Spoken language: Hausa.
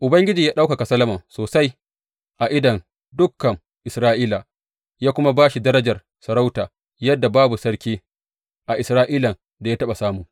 Ubangiji ya ɗaukaka Solomon sosai a idon dukan Isra’ila, ya kuma ba shi darajar sarauta yadda babu sarki a Isra’ilan da ya taɓa samu.